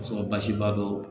A sɔrɔ basi ba do